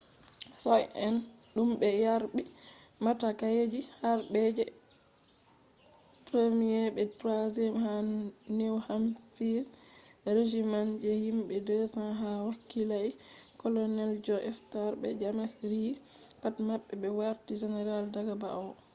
soja’en dum be yarbi matakije harbe je 1st be 3rd ha new hampshire regiments je himbe 200 ha wakilai colonels john stark be james reed pat mabbe be warti generals daga ba’wo